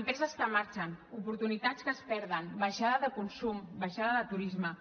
empreses que marxen oportunitats que es perden baixada de consum baixada de turisme